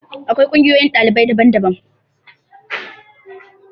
Akwai ƙungiyoyin ɗalibai daban daban.